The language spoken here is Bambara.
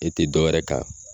E te dɔwɛrɛ kan